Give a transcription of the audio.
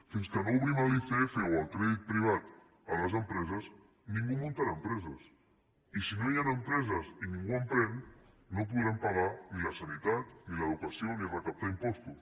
fins que no obrim l’icf o el crèdit privat a les empreses ningú muntarà empreses i si no hi han empreses i ningú emprèn no podrem pagar ni la sanitat ni l’educació ni recaptar impostos